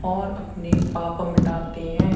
और अपने पाप मिटाते हैं।